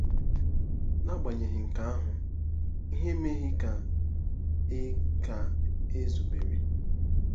N'agbanyeghị nke ahụ, ihe emeghị ka e ka e zubere.